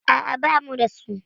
A'a, ba mu da su.